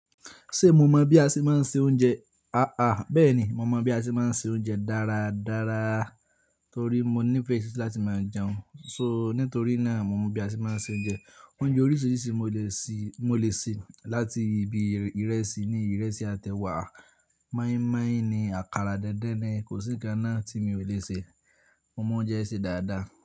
Ṣé mo mọ̀ bí a ṣe máa ń se oúnjẹ? Aà, bẹ́ẹ̀ ni, mo mọ̀ bí a ṣe máa ń se oúnjẹ dára dára torí mo nífẹ̀ẹ́ síi láti máa jẹun, so nítorí náà mo mọ̀ bí a ṣe máa ń se oúnjẹ. Oúnjẹ oríṣiríṣi mo lè ṣe, mo lè ṣe láti ibi ìrẹsì ni ìrẹsì àti ẹwá, mọ́ímọ́í ni, àkàrà dẹ́dẹ́ ni, kò sí nǹkan náà tí mi ò lè ṣe. Mo mọ oúnjẹ ṣe dáadáa.